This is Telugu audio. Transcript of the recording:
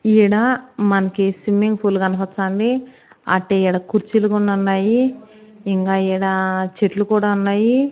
ఈడ మనకి స్విమ్మింగ్ ఫూల్ కనపచ్చా ఉంది. అట్టే ఈడ కుర్చీలు కూడనున్నాయి ఇంకా ఈడ చెట్లు కూడా ఉన్నాయి.